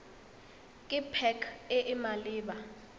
ke pac e e maleba